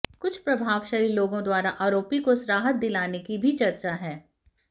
कुछ प्रभावशाली लोगों द्वारा आरोपी को राहत दिलाने की भी चर्चा है